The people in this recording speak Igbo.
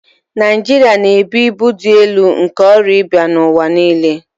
Naịjirịa na-ebu ibu dị elu nke ọrịa ịba n'ụwa niile